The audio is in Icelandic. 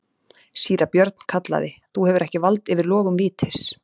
Síra Björn kallaði:-Þú hefur ekki vald yfir logum vítis.